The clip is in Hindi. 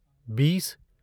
बीस